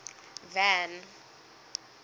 van